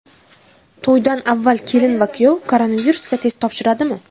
To‘ydan avval kelin va kuyov koronavirusga test topshiradimi?